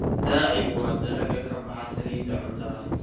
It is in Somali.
Daacigu waa dalagga ka baxa saliidda cuntada.